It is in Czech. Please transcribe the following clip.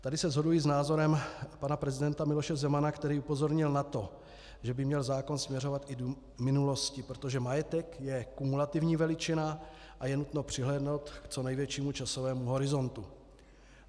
Tady se shoduji s názorem pana prezidenta Miloše Zemana, který upozornil na to, že by měl zákon směřovat i do minulosti, protože majetek je kumulativní veličina a je nutno přihlédnout k co největšímu časovému horizontu.